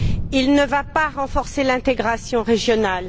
Il ne va pas renforcer l'intégration régionale.